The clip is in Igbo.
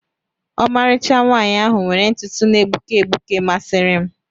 Ọmarịcha nwaanyị ahụ were ntutu na-egbuke egbuke masịrị m.